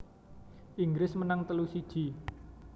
Inggris menang telu siji